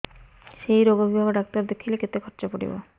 ସେଇ ରୋଗ ବିଭାଗ ଡ଼ାକ୍ତର ଦେଖେଇଲେ କେତେ ଖର୍ଚ୍ଚ ପଡିବ